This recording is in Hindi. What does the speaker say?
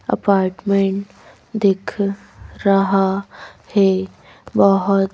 अपार्टमेंट दिख रहा है बहुत--